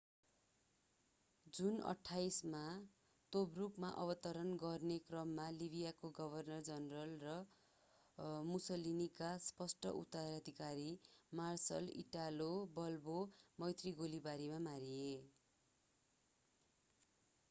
जुन 28 मा तोब्रुकमा अवतरण गर्ने क्रममा लिवियाका गभर्नर जनरल र मुसलिनीका स्पष्ट उत्तराधिकारी मार्सल इटालो बाल्बो मैत्रि गोलीबारीमा मारिए